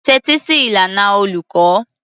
Tẹ́tí sí ìlànà olùkọ́.